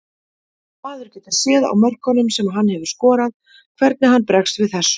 Maður getur séð á mörkunum sem hann hefur skorað hvernig hann bregst við þessu.